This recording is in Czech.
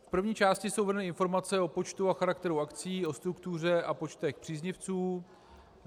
V první části jsou uvedeny informace o počtu a charakteru akcí, o struktuře a počtech příznivců.